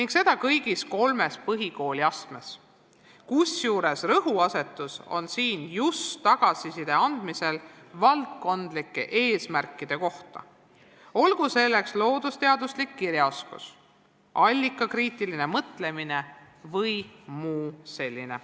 Ja seda kõigis kolmes põhikooliastmes, kusjuures rõhuasetus on just tagasiside andmisel valdkondlike eesmärkide kohta, olgu selleks loodusteaduslik kirjaoskus, allikakriitiline mõtlemine või midagi muud sellist.